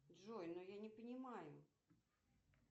джой ну я не понимаю